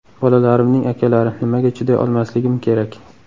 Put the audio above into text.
Bolalarimning akalari, nimaga chiday olmasligim kerak?